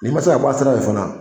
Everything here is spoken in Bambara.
N'i man se ka bɔ a sirafɛ fana.